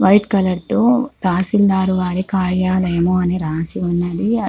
White colour తో తహసిల్దరి వారి కార్యాలయం అని రాసి ఉంది.